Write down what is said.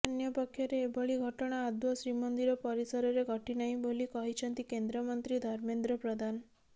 ଅନ୍ୟପକ୍ଷରେ ଏଭଳି ଘଟଣା ଆଦୌ ଶ୍ରୀମନ୍ଦିର ପରିସରରେ ଘଟିନାହିଁ ବୋଲି କହିଛନ୍ତି କେନ୍ଦ୍ରମନ୍ତ୍ରୀ ଧର୍ମେନ୍ଦ୍ର ପ୍ରଧାନ